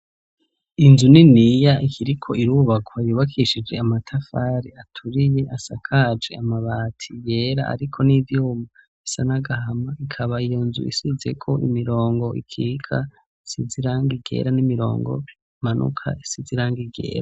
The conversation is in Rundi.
Inzu niniya ikiriko irubakwa yubakishije amatafari aturiye asakaje amabati yera ariko n'ivyuma bisa nagahama ikaba iyonzu isizeko imirongo ikika isizirangi ryera n'imirongo imanuka isizirangi ryera.